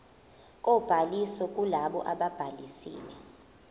kobhaliso kulabo ababhalisile